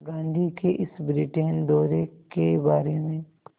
गांधी के इस ब्रिटेन दौरे के बारे में